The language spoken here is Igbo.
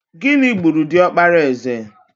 Gịnị gburu diọkpara eze?